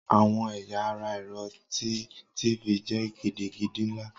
Awọn ẹya ara ẹrọ ti tv jẹ gidigidi nla.